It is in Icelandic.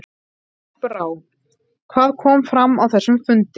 Unnur Brá, hvað kom fram á þessum fundi?